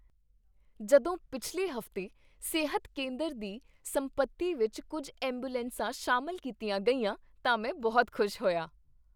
ਜਦੋਂ ਪਿਛਲੇ ਹਫ਼ਤੇ ਸਿਹਤ ਕੇਂਦਰ ਦੀ ਸੰਪਤੀ ਵਿੱਚ ਕੁੱਝ ਐਂਬੂਲੈਂਸਾਂ ਸ਼ਾਮਲ ਕੀਤੀਆਂ ਗਈਆਂ ਤਾਂ ਮੈਂ ਬਹੁਤ ਖੁਸ਼ ਹੋਇਆ।